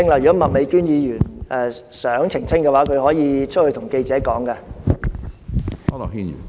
如果麥美娟議員想澄清，她可以到外面跟記者說。